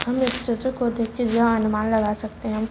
जहां अनुमान लगा सकते है।